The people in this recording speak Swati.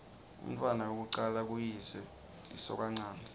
umntfwana wekucala kuyise lisokanchanti